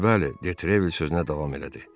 Bəli, bəli, Detrevel sözünə davam elədi.